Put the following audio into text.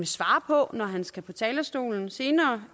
svare på når han skal på talerstolen senere